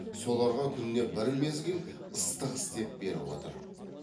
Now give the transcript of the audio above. соларға күніне бір мезгіл ыстық істеп беріп отыр